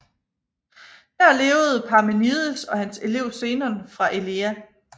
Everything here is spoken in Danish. Der levede Parmenides og hans elev Zenon fra Elea